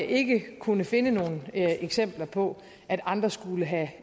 ikke kunne finde nogen eksempler på at andre skulle have